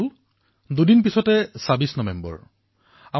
এই স্কুবা ডাইভাৰসকলৰ ক্ষুদ্ৰ প্ৰয়াসে এক বৃহৎ অভিযানৰ ৰূপ লব পাৰে